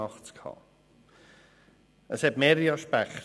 84 Absatz 4 hat mehrere Aspekte.